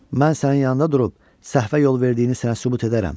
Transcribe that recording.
Mən sənin yanında durub səhvə yol verdiyini sənə sübut edərəm.